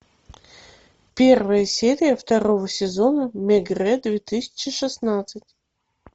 первая серия второго сезона мегрэ две тысячи шестнадцать